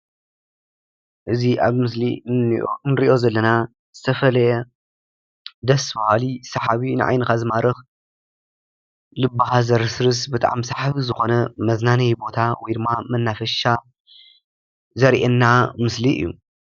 እዚ ምስሊ ሰሓብን ደስ በሃልን መዘናግዒ ቦታ እዩ።